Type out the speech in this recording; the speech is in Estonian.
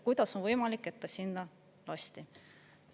Kuidas on võimalik, et ta sinna lasti?